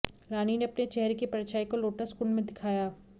रानी ने अपने चेहरे की परछाई को लोटस कुण्ड में दिखाया